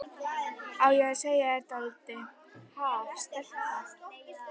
Á ég að segja þér dálítið, ha, stelpa?